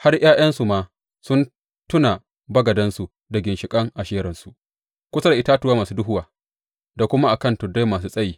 Har ’ya’yansu ma sun tuna bagadansu da ginshiƙan Asheransu kusa da itatuwa masu duhuwa da kuma a kan tuddai masu tsayi.